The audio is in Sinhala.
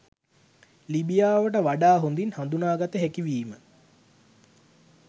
ලිබියාව වඩා හොඳින් හඳුනාගත හැකි වීම